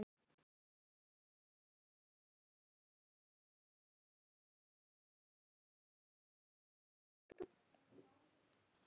Lúlli var áhyggjulaus eins og venjulega og virtist strax búinn að gleyma Halla.